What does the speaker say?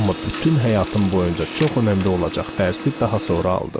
Amma bütün həyatım boyunca çox önəmli olacaq dərsi daha sonra aldım.